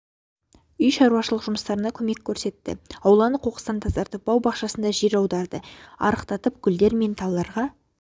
үй шаруашылық жұмыстарына көмек көрсетті ауланы қоқыстан тазартып бау-бақшасында жер аударды арықтартып гүлдер мен талдарға